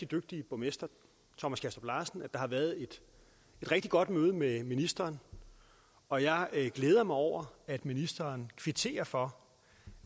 dygtige borgmester thomas kastrup larsen at der har været et rigtig godt møde med ministeren og jeg glæder mig over at ministeren kvitterer for